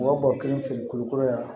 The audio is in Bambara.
U ka bɔgɔ kelen feere kulukoro yan